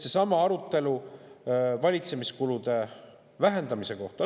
Seesama arutelu valitsemiskulude vähendamise kohta.